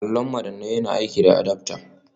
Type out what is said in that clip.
Allon madannai nawa yana aiki da adaftar